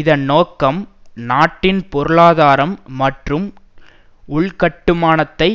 இதன் நோக்கம் நாட்டின் பொருளாதாரம் மற்றும் உள்கட்டுமானத்தை